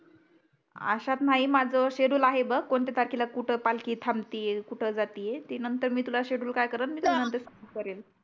अशात नाही माझं शेड्युल आहे बघ कोणत्या तारखेला कुठे पालखी थांबतीये आहे कुठे जाती आहे. ते नंतर मी तुला शेड्युल काय करल सेंड करेल